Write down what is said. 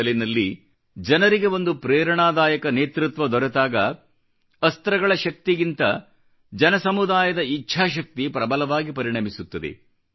ಅಸಲಿನಲ್ಲಿ ಜನರಿಗೆ ಒಂದು ಪ್ರೇರಣಾದಾಯಕ ನೇತೃತ್ವ ದೊರೆತಾಗ ಅಸ್ತ್ರಗಳ ಶಕ್ತಿಗಿಂತ ಜನಸಮುದಾಯದ ಇಚ್ಛಾಶಕ್ತಿ ಪ್ರಬಲವಾಗಿ ಪರಿಣಮಿಸುತ್ತದೆ